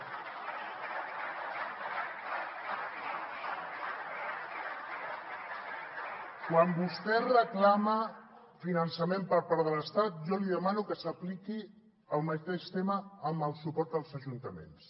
quan vostè reclama finançament per part de l’estat jo li demano que s’apliqui el mateix tema en el suport als ajuntaments